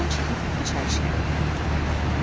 Bulvardan çıxıb İçərişəhərə tərəf getdik.